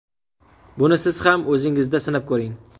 Buni siz ham o‘zingizda sinab ko‘ring!